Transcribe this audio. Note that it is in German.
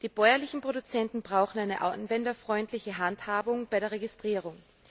Die bäuerlichen Produzenten brauchen eine anwenderfreundliche Handhabung bei der Registrierung.